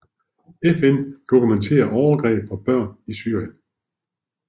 FN dokumenterer overgreb på børn i Syrien